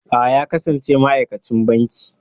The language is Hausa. A'a, ya kasance ma'aikacin banki.